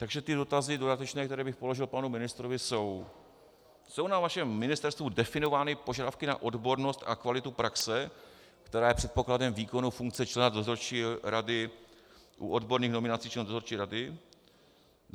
Takže ty dotazy dodatečné, které bych položil panu ministrovi, jsou: Jsou na vašem Ministerstvu definovány požadavky na odbornost a kvalitu praxe, která je předpokladem výkonu funkce člena dozorčí rady u odborných nominací členů dozorčí rady?